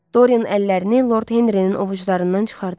Dorian əllərini Lord Henrinin ovuclarından çıxardı.